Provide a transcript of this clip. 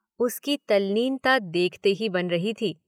उसकी तल्लीनता देखते ही बन रही थी।